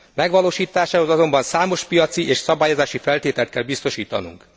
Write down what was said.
Megvalósításához azonban számos piaci és szabályozási feltételt kell biztosítanunk.